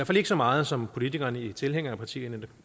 fald ikke så meget som politikerne i tilhængerpartierne